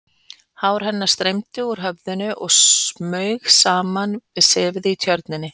Hár hennar streymdi úr höfðinu og smaug saman við sefið í Tjörninni.